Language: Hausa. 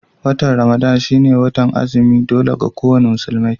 Watan Ramadan shi ne watar azumi na dole ga ko wani musulmi